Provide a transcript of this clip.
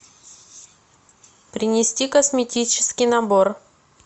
принести косметический набор